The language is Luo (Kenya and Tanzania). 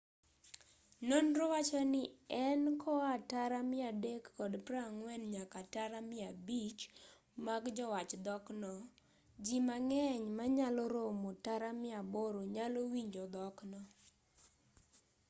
nonro wachoni en koa tara 340 nyaka tara 500 mag jowach dhokno ji mang'eny manyalo romo tara 800 nyalo winjo dhokno